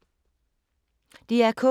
DR K